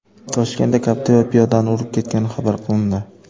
Toshkentda Captiva piyodani urib ketgani xabar qilindi.